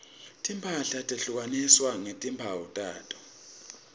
timphahla tehlukaniswa ngetimphawu takhona